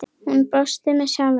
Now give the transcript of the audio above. Hún brosir með sjálfri sér.